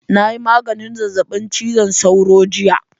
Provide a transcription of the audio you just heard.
Na yi maganin zazzabin cizon sauro jiya